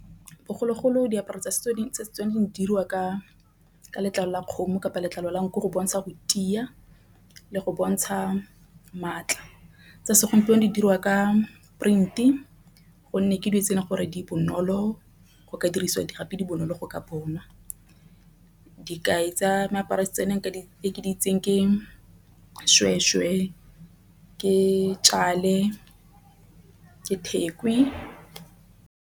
Bogologolo diaparo tsa setso tsa Setswana di dirwa ka letlalo la kgomo kapa letlalo la nku go bontsha go tiya le go bontsha maatla. Tsa segompieno di dirwa ka print gonne ke dingwe tse e leng gore di bonolo go ka diriswa di gape di bonolo go ka bonwa. Tsa meaparong tse ke di itseng ke shweshwe ke ke thekwe.